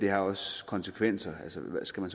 har også konsekvenser man skal